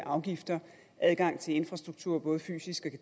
og afgifter adgang til infrastruktur både fysisk